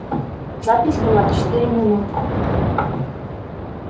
запись была четыре минуты